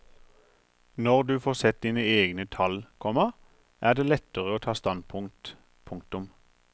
Når du får sett dine egne tall, komma er det lettere å ta standpunkt. punktum